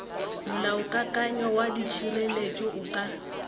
molaokakanywa wa ditšhelete o ka